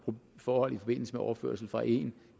forhold i forbindelse med overførsel fra en